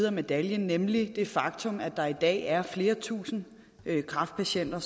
af medaljen nemlig det faktum at der i dag er flere tusind kræftpatienter